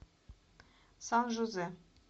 сан жозе